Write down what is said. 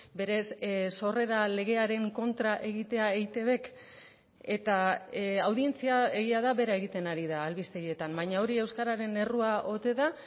berez sorrera legearen kontra egitea eitbk eta audientzia egia da bera egiten ari da albistegietan baina hori euskararen errua ote da